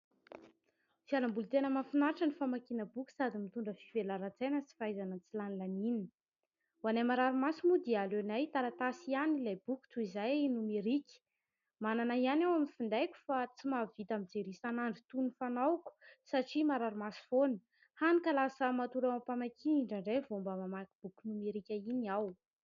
Fialamboly tena mahafinaritra ny famakiana boky sady mitondra fivelaran-tsaina sy fahaizana tsilanilaniana. Ho anay marary maso moa dia aleonay taratasy ihany ilay boky toy izay nomerika. Manana ihany aho amin'ny findaiko fa tsy mahavita mijery isan'andro toy ny fanaoko satria marary maso foana, hany ka lasa matory eo am-pamakiana indraindray vao mba mamaky boky nomerika iny aho.